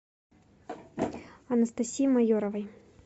анастасии майоровой